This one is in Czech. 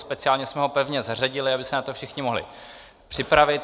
Speciálně jsme ho pevně zařadili, aby se na to všichni mohli připravit.